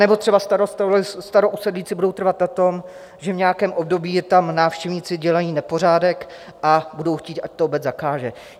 Anebo třeba starousedlíci budou trvat na tom, že v nějakém období jim tam návštěvníci dělají nepořádek, a budou chtít, ať to obec zakáže.